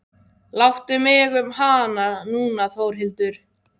Láttu mig um hana núna Þórhildur.